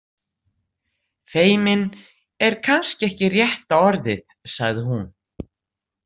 Feiminn er kannski ekki rétta orðið, sagði hún.